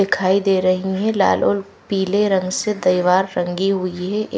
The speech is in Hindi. दिखाई दे रही हैं लाल और पीले रंग से दीवार रंगी हुई है।